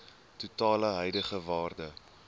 totale huidige waarde